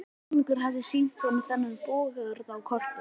Konungur hafði sýnt honum þennan búgarð á korti.